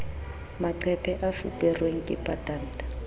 maqephe a fuperweng ke patanta